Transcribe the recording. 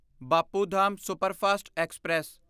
Bapu Dham superfast express